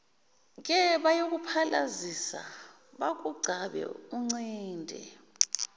kebayokuphalazisa bakugcabe uncinde